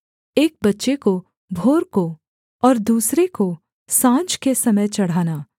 एक बच्चे को भोर को और दूसरे को साँझ के समय चढ़ाना